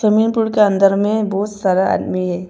Swimming pool के अन्दर में बहोत सारा आदमी है।